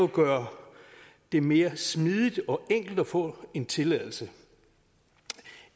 gøre det mere smidigt og enkelt at få en tilladelse